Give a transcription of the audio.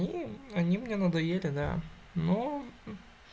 и они мне надоели да ну